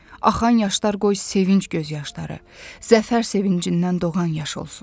Axan yaşlar qoy sevinc göz yaşları, zəfər sevincindən doğan yaş olsun.